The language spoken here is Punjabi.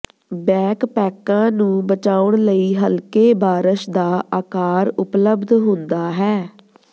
ਬੈਕਪੈਕਾਂ ਨੂੰ ਬਚਾਉਣ ਲਈ ਹਲਕੇ ਬਾਰਸ਼ ਦਾ ਆਕਾਰ ਉਪਲਬਧ ਹੁੰਦਾ ਹੈ